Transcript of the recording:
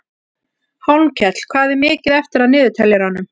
Hólmkell, hvað er mikið eftir af niðurteljaranum?